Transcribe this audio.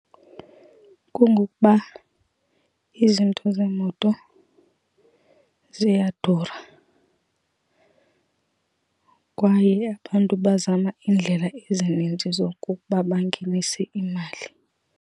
Kungokuba izinto zemoto ziyadura, kwaye abantu bazama iindlela ezininzi zokokuba bangenise imali.